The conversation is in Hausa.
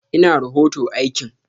Ina rohoto aikin?